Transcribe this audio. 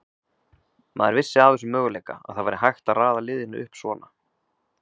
Maður vissi af þessum möguleika, að það væri hægt að raða liðinu upp svona.